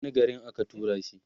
wani garin aka turashi